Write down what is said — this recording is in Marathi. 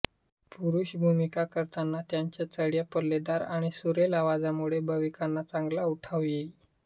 पुरुष भूमिका करताना त्यांच्या चढ्या पल्लेदार आणि सुरेल आवाजामुळे भूमिकांना चांगला उठाव येई